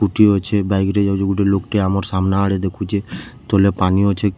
ସ୍କୁଟି ଅଛେ ବାଇକ୍‌ ରେ ଯାଉଛେ ଗୁଟେ ଲୋକ୍‌ ଟେ ଆମର ସାମ୍ନା ଆଡେ ଦେଖୁଛେ ତଲେ ପାନି ଅଛେ କ--